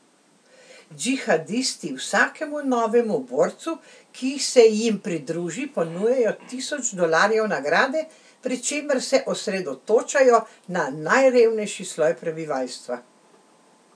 Džihadisti vsakemu novemu borcu, ki se jim pridruži, ponujajo tisoč dolarjev nagrade, pri čemer se osredotočajo na najrevnejši sloj prebivalstva.